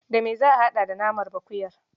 Da me za a haɗa da namanɓakuyar?